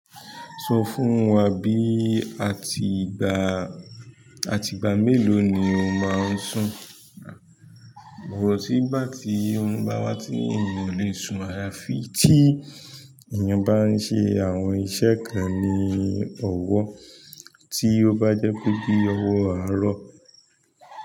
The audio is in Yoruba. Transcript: Sọ fún wá bí àtìgbà, àtìgbà mélò ni o máa ń sùn, kò sí ìgbà tí òrùn bá wà tí eyan ò lè sùn àyàfi tí eyan bá ń ṣe àwọn iṣẹ́ ní owó, tí o bá jẹ́ pé bí owó aro.